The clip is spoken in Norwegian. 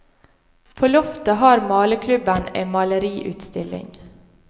På loftet har maleklubben en maleriutstilling.